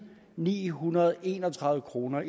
ni hundrede og en og tredive kroner